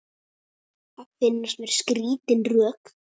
Það finnast mér skrítin rök.